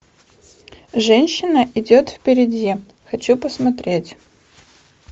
женщина идет впереди хочу посмотреть